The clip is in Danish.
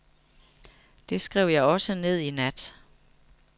Det skrev jeg også ned i nat.